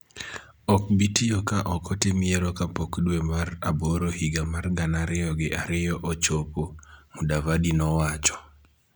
ok bi tiyo ka ok otim yiero kapok dwe mar aboro higa mar gana ariyo gi ariyo ochopo,� Mudavadi nowacho.